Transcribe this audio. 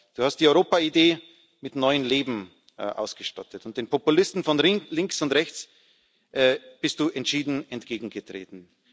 Du hast die Europa Idee mit neuem Leben ausgestattet, und den Populisten von links und rechts bist Du entschieden entgegengetreten.